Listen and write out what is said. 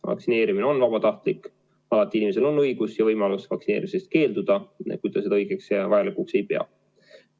Vaktsineerimine on vabatahtlik, alati on inimesel õigus ja võimalus vaktsineerimisest keelduda, kui ta seda vajalikuks ei pea.